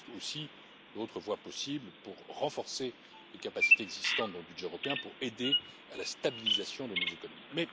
Il existe aussi d'autres voies possibles pour renforcer les capacités existantes dans le budget européen afin d'aider à la stabilisation de nos économies.